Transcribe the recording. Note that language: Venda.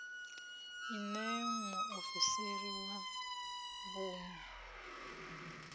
i ṋee muofisiri wa vhuun